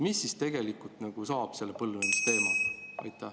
Mis siis tegelikult saab selle põlvnemise teemaga?